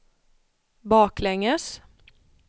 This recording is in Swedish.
baklänges